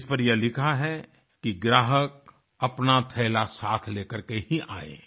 जिस पर यह लिखा है कि ग्राहक अपना थैला साथ ले करके ही आये